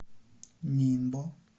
нинбо